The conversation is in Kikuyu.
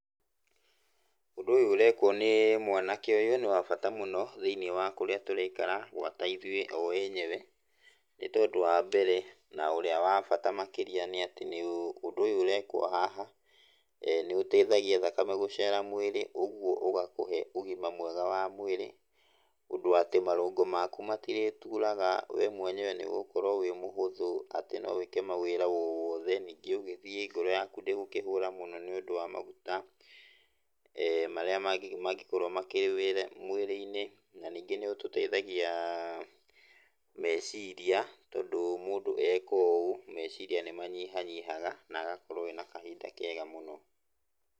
Ũndũ ũyũ ũrekwo nĩ mwanake ũyũ nĩ wa bata mũno thĩiniĩ wa kũrĩa tũraikara gwata ĩthuĩ o enyewe nĩ tondũ wa mbere na ũrĩa wa bata makĩria nĩ atĩ ũndũ ũyũ ũrekwo haha nĩũteithagia thakame gũcera mwĩrĩ ũguo ũgakũhe ũgima wa mwega wa mwĩrĩ, ũndũ atĩ marũngo maku matirĩturaga, we mwenyewe nĩ ũgũkorwo wĩ mũhũthũ atĩ no wĩke ma wĩra owothe ningĩ ũgĩthĩĩ ngoro yaku ndĩgũkĩhũra mũno nĩ ũndũ wa maguta marĩa mangĩkorwo makĩihũire mwĩrĩ-inĩ. Na ningĩ nĩ ũtũteithagia meciria tondũ mũndũ eka ũũ meciria nĩ manyihanyihaga na agakũrwo ena kahinda kega mũno.